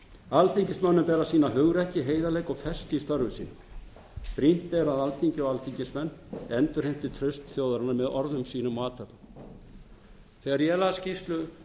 alþingismönnum ber að sýna hugrekki heiðarleika og festu í störfum sínum brýnt er að alþingi og alþingismenn endurheimti traust þjóðarinnar með orðum sínum og athöfnum þegar ég las skýrslu